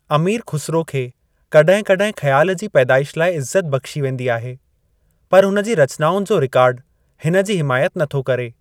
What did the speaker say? अमीर खुसरो खे कॾहिं कॾहिं ख्याल जी पैदाइश लाए इज्‍ज़त बख्‍शी वेंदी आहे, पर हुनजी रचनाउनि जो रिकॉर्ड हिनजी हिमायत नथो करे।